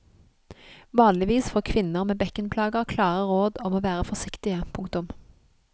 Vanligvis får kvinner med bekkenplager klare råd om å være forsiktige. punktum